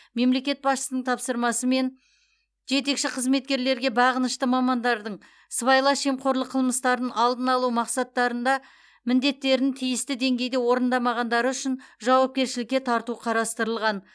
мемлекет басшысының тапсырмасымен жетекші қызметкерлерге бағынышты мамандардың сыбайлас жемқорлық қылмыстарын алдын алу мақсаттарында міндеттерін тиісті деңгейде орындамағандары үшін жауапкершілікке тарту қарастырылған